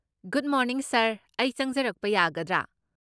Good morning sir , ꯑꯩ ꯆꯪꯖꯔꯛꯄ ꯌꯥꯒꯗ꯭ꯔꯥ?